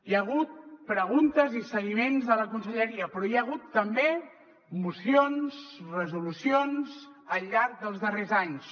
hi ha hagut preguntes i seguiments de la conselleria però hi ha hagut també mocions resolucions al llarg dels darrers anys